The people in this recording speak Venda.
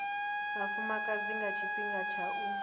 vhafumakadzi nga tshifhinga tsha u